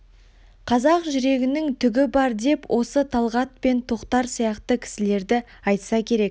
қазақ жүрегінің түгі бар деп осы талғат пен тоқтар сияқты кісілерді айтса керек